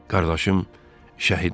Qardaşım şəhid olub.